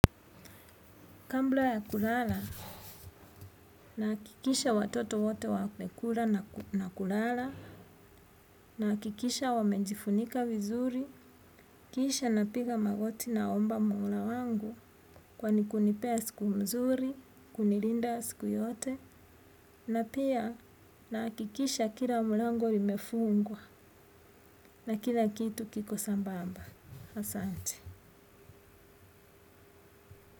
Kabla ya kulala, nahakikisha watoto wote wamekula na kulala, nahakikisha wamejifunika vizuri, kisha napiga magoti naomba mola wangu kwa kunipea siku mzuri, kunilinda siku yote, na pia nahakikisha kila mlango imefungwa na kila kitu kiko sambamba. Asante.